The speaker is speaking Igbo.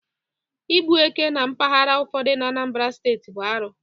Ịgbu éke na mpaghara ụfọdụ na Anambra Steeti bụ arụ